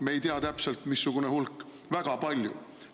Me ei tea täpselt, missugune hulk – väga palju.